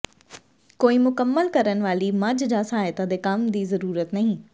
ਕੋਈ ਮੁਕੰਮਲ ਕਰਨ ਵਾਲੀ ਮੱਝ ਜਾਂ ਸਹਾਇਤਾ ਦੇ ਕੰਮ ਦੀ ਜ਼ਰੂਰਤ ਨਹੀਂ